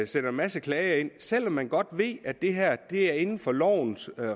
sender en masse klager ind selv om man godt ved at det her er inden for lovens